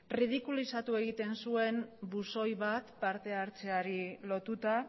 ridikulizatu egiten zuen buzoi bat partehartzeari lotuta